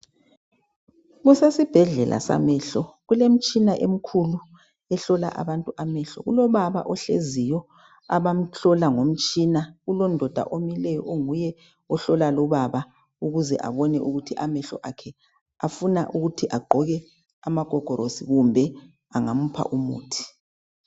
Kusesibhedlela samehlo. Kulemitshina emikhulu, ehlola abantu amehlo. Kulobaba ohleziyo, abamhlola ngomtshina. Kulondoda omileyo, onguye ohlola lubaba. Ukuze abone ukuthi amehlo akhe afuna ukuthi agqoke amagogorosi, kumbe, angamupha umuthi.